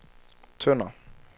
Tønder